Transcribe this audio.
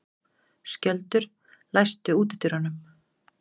Skjöldur, læstu útidyrunum.